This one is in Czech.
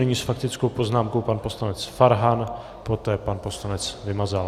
Nyní s faktickou poznámkou pan poslanec Farhan, poté pan poslanec Vymazal.